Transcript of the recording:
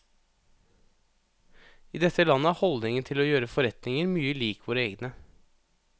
I dette landet er holdningen til å gjøre forretninger mye lik våre egne.